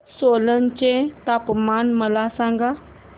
सोलन चे तापमान मला सांगा